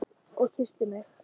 Og kyssti mig.